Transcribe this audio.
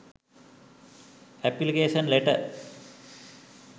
application letter